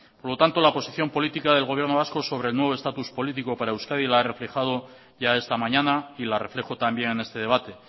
por lo tanto la posición política del gobierno vasco sobre el nuevo estatus político para euskadi la ha reflejado ya esta mañana y la reflejo también en este debate